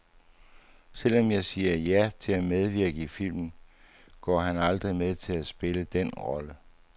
Selvom han siger ja til at medvirke i filmen, går han aldrig med til at spille dén rolle.